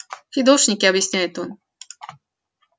фидошники объясняет он